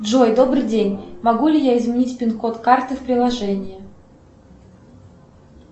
джой добрый день могу ли я изменить пин код карты в приложении